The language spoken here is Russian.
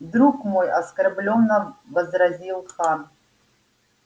друг мой оскорблённо возразил хан